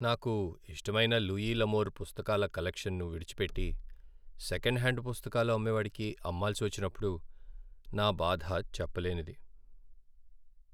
నాకు ఇష్టమైన Louis L'Amour పుస్తకాల కలెక్షన్ను విడిచిపెట్టి, సెకండ్ హ్యాండ్ పుస్తకాలు అమ్మేవాడికి అమ్మాల్సి వచ్చినప్పుడు నా బాధ చెప్పలేనిది.